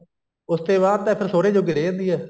ਉਸ ਤੇ ਬਾਅਦ ਤਾਂ ਫ਼ੇਰ ਸੁਹਰੇ ਜੋਗੀ ਰਹਿ ਜਾਂਦੀ ਐ